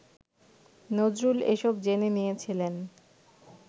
নজরুল এসব জেনে নিয়েছিলেন